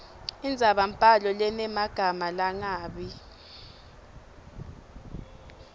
indzabambhalo lenemagama langabi